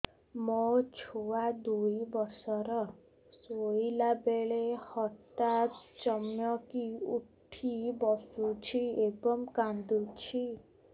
ମୋ ଛୁଆ ଦୁଇ ବର୍ଷର ଶୋଇଲା ବେଳେ ହଠାତ୍ ଚମକି ଉଠି ବସୁଛି ଏବଂ କାଂଦୁଛି